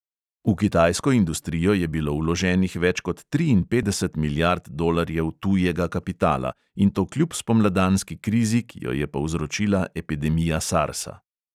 V kitajsko industrijo je bilo vloženih več kot triinpetdeset milijard dolarjev tujega kapitala, in to kljub spomladanski krizi, ki jo je povzročila epidemija sarsa.